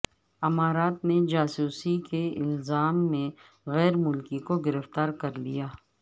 امارات نے جاسوسی کے الزام میں غیر ملکی کو گرفتار کر لیا